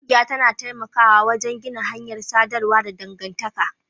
Ƙungiya tana taimakawa wajen gina hanyar sadarwa da dangantaka